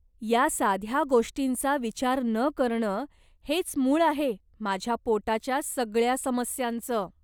या साध्या गोष्टींचा विचार न करणं हेच मूळ आहे माझ्या पोटाच्या सगळ्या समस्यांचं.